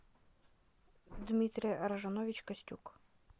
дмитрий аржанович костюк